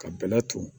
Ka bɛlɛ ton